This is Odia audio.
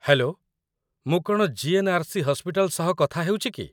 ହେଲୋ! ମୁଁ କ'ଣ ଜି.ଏନ୍.ଆର୍.ସି. ହସ୍ପିଟାଲ ସହ କଥା ହେଉଛି କି?